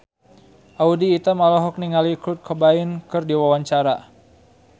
Audy Item olohok ningali Kurt Cobain keur diwawancara